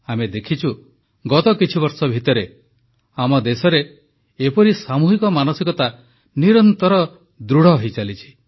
ଆମେ ଦେଖିଛୁ ଗତ କିଛିବର୍ଷ ଭିତରେ ଆମ ଦେଶରେ ଏପରି ସାମୂହିକ ମାନସିକତା ନିରନ୍ତର ଦୃଢ଼ ହୋଇଚାଲିଛି